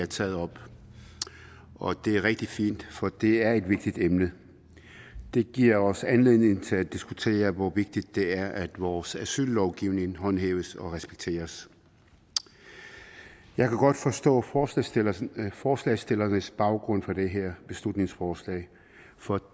taget op og det er rigtig fint for det er et vigtigt emne det giver os anledning til at diskutere hvor vigtigt det er at vores asyllovgivning håndhæves og respekteres jeg kan godt forstå forstå forslagsstillernes baggrund for det her beslutningsforslag for